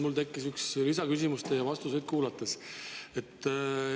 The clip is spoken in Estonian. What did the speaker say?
Mul tekkis üks lisaküsimus teie vastuseid kuulates.